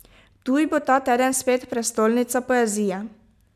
Ptuj bo ta teden spet prestolnica poezije.